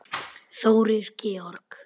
Þórir Georg.